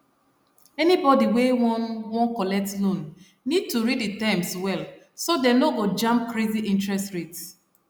anybody wey wan wan collect loan need to read the terms well so dem no go jam crazy interest rate